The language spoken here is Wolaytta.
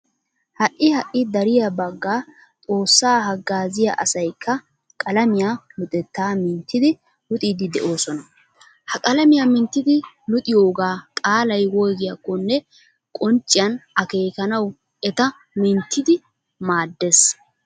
Ha"i ha"i dariya bagga xoossaa haggaaziya asaykka qalamiya luxettaa minttidi luxiiddi de'oosona. Ha qalamiya minttidi luxiyogaa qaalay woygyakkonne qoncciyan akeekanawu eta minttidi maaddees.